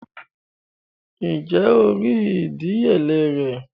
Ǹjé o rí ìdíyelé rẹ̀?